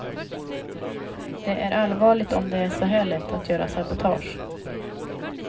Det är allvarligt om det är så här lätt att göra sabotage.